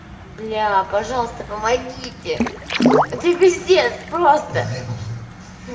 бляя пожалуйста помогите это пиздец просто